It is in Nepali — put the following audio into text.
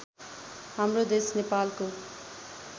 हाम्रो देश नेपालको